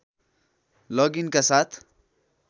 लग इनका साथ